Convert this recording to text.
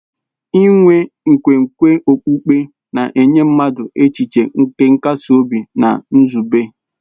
Inwe nkwenkwe okpukpe na-enye mmadụ echiche nke nkasi obi na nzube.